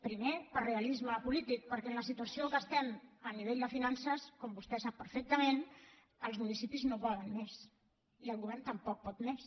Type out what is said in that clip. primer per realisme polític perquè en la situació en què estem a nivell de finances com vostè sap perfectament els municipis no poden més i el govern tampoc pot més